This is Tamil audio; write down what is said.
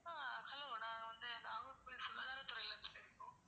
அஹ் hello நாங்க வந்து நாகர்கோவில் சுகாதாரத்துறையில இருந்து பேசறோம்